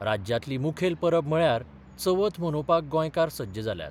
राज्यांतली मुखेल परब म्हळ्यार चवथ मनोवपाक गोंयकार सज्ज जाल्यात.